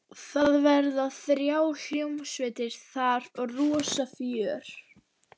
Það verða þrjár hljómsveitir þar og rosa fjör.